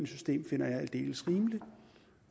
system finder jeg aldeles rimelig